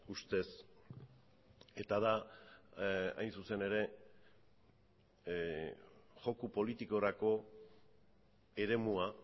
ustez eta da hain zuzen ere joko politikorako eremua